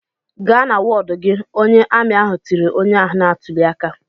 "Gaa na wọdụ gị!" Onye amị ahụ tiri onye ahụ na-atụli aka.